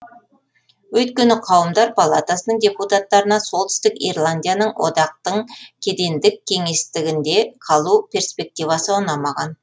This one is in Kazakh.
өйткені қауымдар палатасының депутаттарына солтүстік ирландияның одақтың кедендік кеңістігінде қалу перспективасы ұнамаған